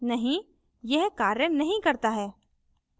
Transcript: नहीं यह कार्य नहीं करता है